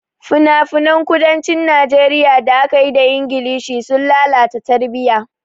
Finafinan kudancin Najeriya da aka yi da Ingilishi sun lalata tarbiyya.